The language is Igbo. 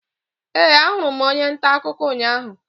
Ee, ahụrụ m onye nta akụkọ ụnyahụ.